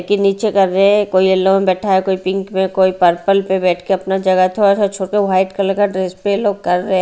के नीचे कर रहे हैं कोई येलो में बैठा है कोई पिंक में कोई पर्पल पे बैठ के अपना जगह थोड़ा सा छोड़ के वाइट कलर का ड्रेस पे लोग कर रहे हैं।